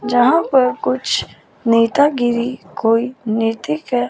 जहां पर कुछ नेतागिरी कोई नैतिक है।